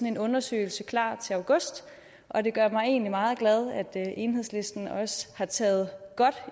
en undersøgelse klar til august og det gør mig egentlig meget glad at enhedslisten også har taget godt